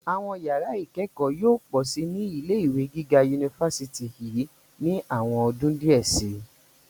Àwọn yàrá ìkẹ́kọ̀ọ́ yóò pọ̀ síi ní ilé ìwé gíga yunifásítì yìí ní àwọn ọdún díẹ̀ síi.